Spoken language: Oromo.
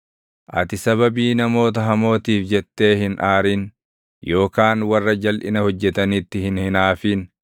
Ati sababii namoota hamootiif jettee hin aarin yookaan warra jalʼina hojjetanitti hin hinaafin.